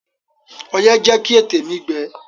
Ọyẹ́ jẹ́ kí ètè mi gbẹ.